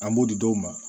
An b'o di dɔw ma